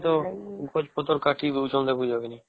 ସବୁ ଆଡେ ତ ଗଛ ପତ୍ର କାଟି ଦଉଛନ ଦେଖୁଛ କି ନାଇଁ